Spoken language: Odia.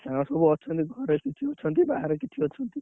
ତାଙ୍କର ସବୁ ଅଛନ୍ତି ଘରେ କିଛି ଅଛନ୍ତି ବାହାରେ କିଛି ଅଛନ୍ତି।